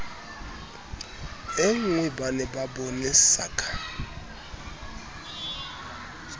e nngweba ne ba bonesaka